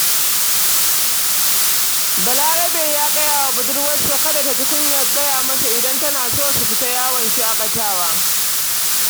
Balarabe ya gaya wa budurwarsa kada ta ji kunyar gaya masa, idan tana so su fita yawon shaƙatawa.